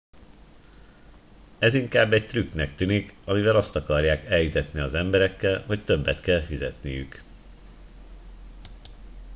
ez inkább egy trükknek tűnik amivel azt akarják elhitetni az emberekkel hogy többet kell fizetniük